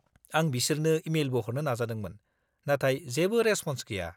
आं बिसोरनो इमेलबो हरनो नाजादोंमोन, नाथाय जेबो रेसप'न्स गैया।